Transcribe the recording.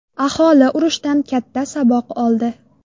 Aholi urushdan katta saboq oldi.